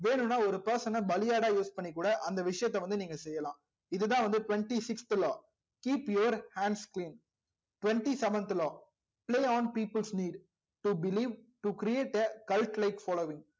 வேணும் னா ஒரு person ன பலியாடா use பண்ணி கூட அந்த விஷயத்த நீங்க பண்ணலாம் இது தா வந்து twenty sixth law keep your hands queen twenty seventh law play on peoples need to believe to create the calculate following